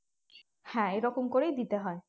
হ্যাঁ এই রকম করেই দিতে হয়